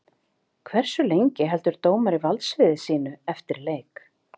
Hversu lengi heldur dómari valdsviði sínu eftir leik?